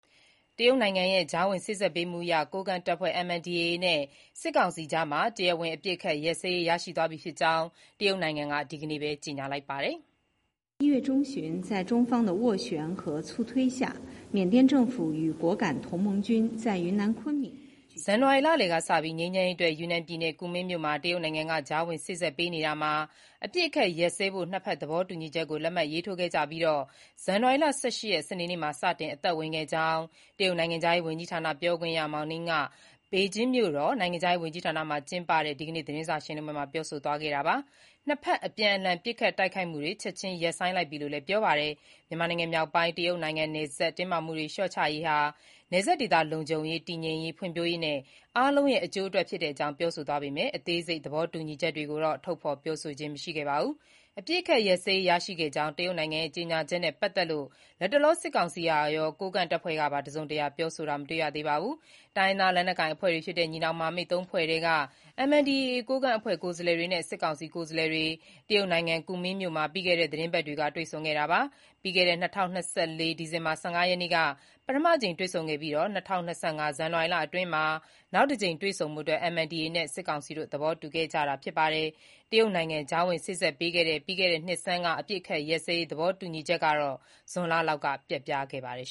တရုတ်နိုင်ငံရဲ့ ကြားဝင်စေ့စပ်ပေးမှုအရ MNDA ကိုးကန့်တပ်ဖွဲ့နဲ့ စစ်ကောင်စီအကြား တရားဝင် အပစ်အခတ်ရပ်စဲရေး ရရှိသွားပြီဖြစ်ကြောင်း တရုတ်နိုင်ငံက ဒီကနေ့ပဲ ကြေညာလိုက်ပါတယ်။ ဇန်နဝါရီ လလယ်ကစ ငြိမ်းချမ်းရေးအတွက် ယူနန်ပြည်နယ်၊ ကူမင်းမြို့မှာ တရုတ်နိုင်ငံက ကြားဝင်စေ့စပ်ပေးနေရာမှာ၊ အပစ်အခတ်ရပ်စဲဖို့ ၂ ဖက် သဘောတူညီချက်ကို လက်မှတ်ထိုးခဲ့ကြပြီး၊ ဇန်နဝါရီလ ၁၈ ရက်၊ စနေနေ့မှာ စတင်အသက်ဝင်ခဲ့ကြောင်း တရုတ်နိုင်ငံခြားရေးဝန်ကြီးဌာန ပြောခွင့်ရ Mao Ning က ပေကျင်းမြို့တော်က နိုင်ငံခြားရေးဝန်ကြီးဌာနမှာ ကျင်းပတဲ့ ဒီကနေ့ သတင်းစာရှင်းလင်းပွဲမှာ ပြောဆိုသွားတာပါ။ နှစ်ဖက် အပြန်အလှန် ပစ်ခတ်တိုက်ခိုက်မှုတွေ ချက်ခြင်းရပ်ဆိုင်းလိုက်ပြီလို့လည်း ပြောပါတယ်။ မြန်မာနိုင်ငံမြောက်ပိုင်း တရုတ်နိုင်ငံနယ်စပ် တင်းမာမှုတွေ လျှော့ချရေးဟာ နယ်စပ်ဒေသ လုံခြုံရေး၊ တည်ငြိမ်ရေး၊ ဖွံ့ဖြိုးရေးနဲ့ အားလုံးရဲ့ အကျိုးအတွက် ဖြစ်တဲ့အကြောင်း ပြောဆိုသွားပေမဲ့ အသေးစိတ် သဘောတူညီချက်တွေကိုတော့ ထုတ်ဖေါ် ပြောဆိုခြင်း မရှိပါဘူး။ အပစ်အခတ် ရပ်စဲရေး ရရှိခဲ့ကြောင်း တရုတ်နိုင်ငံရဲ့ ကြေညာချက်နဲ့ ပတ်သက်လို့ လတ်တလော စစ်ကောင်စီကရော၊ ကိုးကန့်တပ်ဖွဲ့ကပါ တစုံတရာ ပြောဆိုတာတော့ မတွေ့ရသေးပါဘူး။ တိုင်းရင်းသားလက်နက်ကိုင်အဖွဲ့တွေဖြစ်တဲ့ ညီနောင်မဟာမိတ် ၃ ဖွဲ့ထဲက MNDAA ကိုးကန့် အဖွဲ့ကိုယ်စားလှယ်တွေနဲ့ စစ်ကောင်စီ ကိုယ်စားလှယ်တွေ တရုတ်နိုင်ငံ ကူမင်းမြို့မှာ ပြီးခဲ့တဲ့ သီတင်းပတ်က တွေ့ဆုံခဲ့တာပါ။ ပြီးခဲ့တဲ့ ၂၀၂၄ ဒီဇင်ဘာ ၁၅ ရက်နေ့က ပထမအကြိမ် တွေ့ဆုံခဲ့ပြီး ၂၀၂၅ ဇန်နဝါရီ အတွင်းမှာ နောက်တကြိမ် တွေ့ဆုံဖို့ MNDAA နဲ့ စစ်ကောင်စီ သဘောတူခဲ့ကြတာဖြစ်ပါတယ်။ တရုတ်နိုင်ငံ ကြားဝင်စေ့စပ်ပေးတဲ့ ပြီးခဲ့တဲ့နှစ်ဆန်းက အပစ်အခတ်ရပ်စဲရေး သဘောတူညီချက်ဟာ ဇွန်လလောက်မှာ ပျက်ပြားခဲ့ပါတယ်